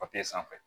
sanfɛ